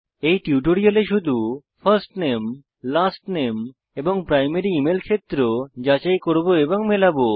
এই টিউটোরিয়ালে শুধু ফার্স্ট নামে লাস্ট নামে এবং প্রাইমারি ইমেইল ক্ষেত্র যাচাই করব এবং মেলাবো